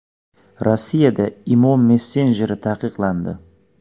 Rossiyada Imo messenjeri taqiqlandi.